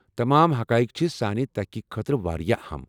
تمام حقائق چھ سانہِ تحقیقہٕ خٲطرٕ واریاہ اہم۔